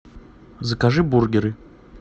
закажи бургеры